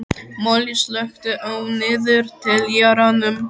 Moli, slökktu á niðurteljaranum.